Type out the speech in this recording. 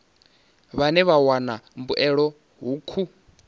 vhane vha wana mbuelo hukhu